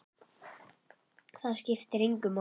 Það skiptir engu máli!